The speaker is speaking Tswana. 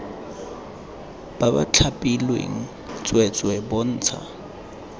ba ba thapilweng tsweetswee bontsha